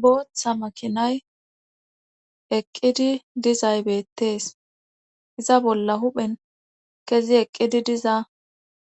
Booththa makinay eqqidi dizay beettees iza bolla huphen kezi eqqidi diza